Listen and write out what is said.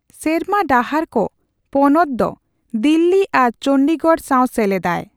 ᱥᱮᱨᱢᱟ ᱰᱟᱦᱟᱨ ᱠᱚ ᱯᱚᱱᱚᱛ ᱫᱚ ᱫᱤᱞᱞᱤ ᱟᱨ ᱪᱚᱱᱰᱤᱜᱚᱲ ᱥᱟᱣ ᱥᱮᱞᱮᱫᱟᱭ ᱾